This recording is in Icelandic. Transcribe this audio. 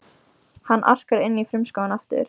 Hann arkar inn í frumskóginn aftur.